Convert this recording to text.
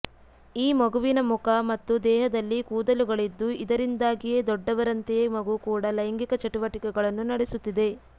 ಈ ಮಗುವಿನ ಮುಖ ಮತ್ತು ದೇಹದಲ್ಲಿ ಕೂದಲುಗಳಿದ್ದು ಇದರಿಂದಾಗಿಯೇ ದೊಡ್ಡವರಂತೆಯೇ ಮಗು ಕೂಡ ಲೈಂಗಿಕ ಚಟುವಟಿಕೆಗಳನ್ನು ನಡೆಸುತ್ತಿದೆ